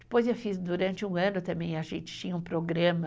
Depois eu fiz durante um ano também, a gente tinha um programa